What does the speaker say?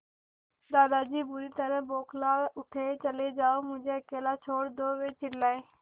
दादाजी बुरी तरह बौखला उठे चले जाओ मुझे अकेला छोड़ दो वे चिल्लाए